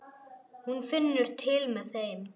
Hún finnur til með þeim.